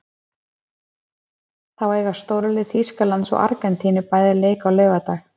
Þá eiga stórlið Þýskalands og Argentínu bæði leik á laugardag.